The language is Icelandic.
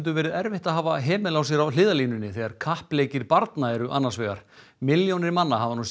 verið erfitt að hafa hemil á sér á hliðarlínunni þegar kappleikir barna eru annars vegar milljónir manna hafa nú séð